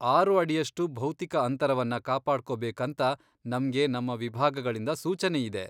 ಆರು ಅಡಿಯಷ್ಟು ಭೌತಿಕ ಅಂತರವನ್ನ ಕಾಪಾಡ್ಕೊಬೇಕಂತ ನಮ್ಗೆ ನಮ್ಮ ವಿಭಾಗಗಳಿಂದ ಸೂಚನೆ ಇದೆ.